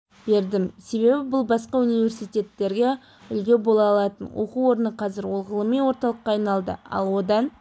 бердім себебі бұл басқа университеттерге үлгі бола алатын оқу орны қазір ол ғылыми орталыққа айналды ал одан